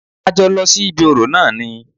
A jọ lọ sí ibí orò náà ni.